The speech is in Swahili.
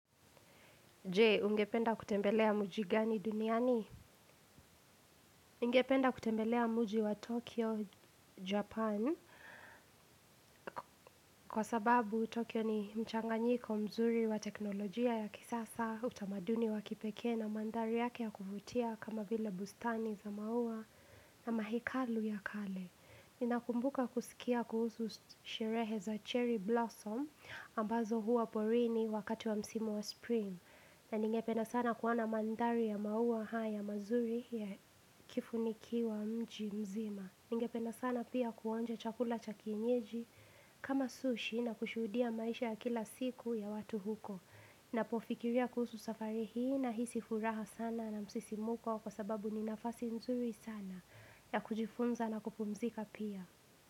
Jee, ungependa kutembelea muji gani duniani? Ningependa kutembelea muji wa Tokyo, Japan. Kwa sababu, Tokyo ni mchanganyiko mzuri wa teknolojia ya kisasa utamaduni wa kipeke na mandari yake ya kufutia kama vile bustani za maua na mahekalu ya kale. Ninakumbuka kusikia kuhusu sherehe za cherry blossom ambazo huwa porini wakati wa msimu wa spring. Na ningependa sana kuwona mandari ya mauwa haa ya mazuri ya kifunikiwa mji mzima. Ningependa sana pia kuonja chakula cha kienyeji kama sushi na kushudia maisha ya kila siku ya watu huko. Napofikiria kuhusu safari hii nahisi furaha sana na msisimuko kwa sababu ni nafasi mzuri sana ya kujifunza na kupumzika pia.